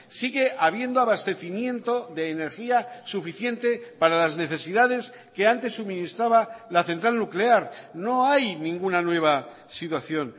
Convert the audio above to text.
sigue habiendo abastecimiento de energía suficiente para las necesidades que antes suministraba la central nuclear no hay ninguna nueva situación